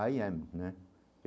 Aí é, né?